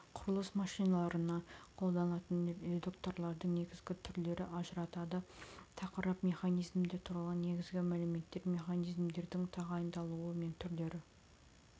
құрылыс машиналарына қолданылатын редукторлардың негізгі түрлерін ажыратады тақырып механизмдар туралы негізгі мәліметтер механизмдердің тағайындалуы мен түрлері